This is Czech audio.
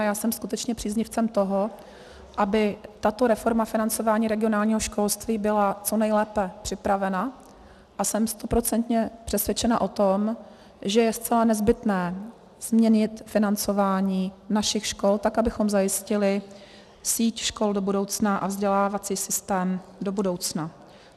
A já jsem skutečně příznivcem toho, aby tato reforma financování regionálního školství byla co nejlépe připravena, a jsem stoprocentně přesvědčena o tom, že je zcela nezbytné změnit financování našich škol, tak abychom zajistili síť škol do budoucna a vzdělávací systém do budoucna.